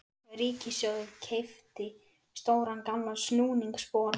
Ríkissjóður keypti stóran gamlan snúningsbor frá